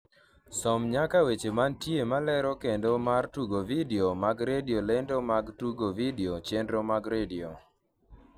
som nyaka weche mantie malero lendo mar tuke vidio mag redio lendo mag tuke vidio chenro mag redio